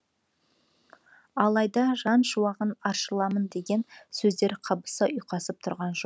алайда жан шуағын аршыламын деген сөздер қабыса ұйқасып тұрған жоқ